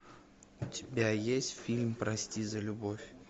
у тебя есть фильм прости за любовь